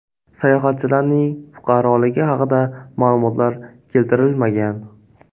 Sayohatchilarning fuqaroligi haqida ma’lumotlar keltirilmagan.